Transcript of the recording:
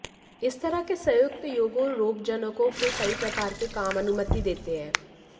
इस तरह के संयुक्त योगों रोगजनकों के कई प्रकार के काम अनुमति देते हैं